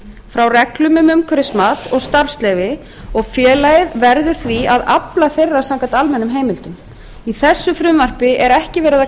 frá reglum um umhverfismat og starfsleyfi og félagið verður því að afla þeirra samkvæmt almennum heimildum í þessu frumvarpi er ekki verið að